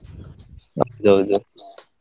ಅದು ಹೌದು.